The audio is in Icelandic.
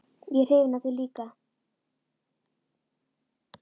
Ég er hrifin af þér líka.